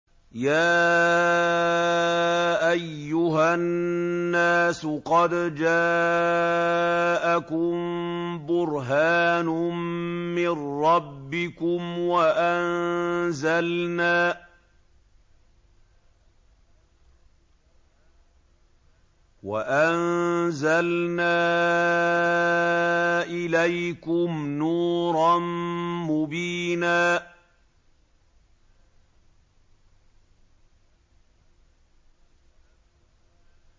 يَا أَيُّهَا النَّاسُ قَدْ جَاءَكُم بُرْهَانٌ مِّن رَّبِّكُمْ وَأَنزَلْنَا إِلَيْكُمْ نُورًا مُّبِينًا